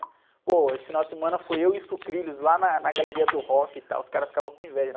Pô, esse final de semana foi eu e o Sucrilhos lá na, na Galeria do Rock e tal, os caras ficavam com inveja, né?